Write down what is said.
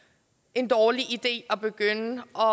en dårlig idé at begynde at